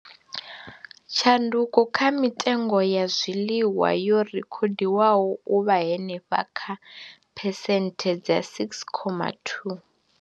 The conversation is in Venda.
Tshanduko kha mitengo ya zwiḽiwa yo rekhodiwa u vha henefha kha phesenthe dza 6.2.